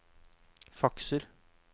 fakser